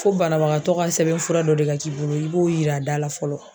Fo banabagatɔ ka sɛbɛn fura dɔ de ka k'i bolo i b'o yira dala fɔlɔ.